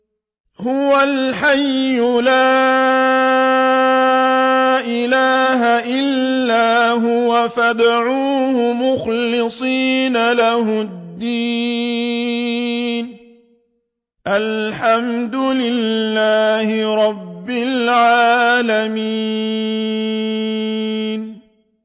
هُوَ الْحَيُّ لَا إِلَٰهَ إِلَّا هُوَ فَادْعُوهُ مُخْلِصِينَ لَهُ الدِّينَ ۗ الْحَمْدُ لِلَّهِ رَبِّ الْعَالَمِينَ